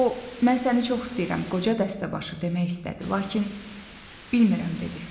O, mən səni çox istəyirəm qoca dəstəbaşı demək istədi, lakin bilmirəm dedi.